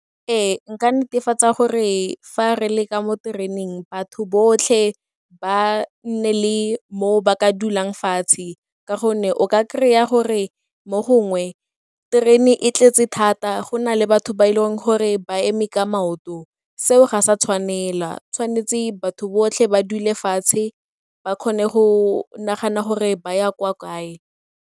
Ee, nka netefatsa gore fa re le ka mo tereneng batho botlhe ba nne le moo ba ka dulang fatshe ka gonne o ka kry-a gore mo gongwe terene e tletse thata go na le batho ba e leng gore ba eme ka maoto. Seo ga sa tshwanela, tshwanetse batho botlhe ba dule fatshe ba kgone go nagana gore ba ya kwa kae.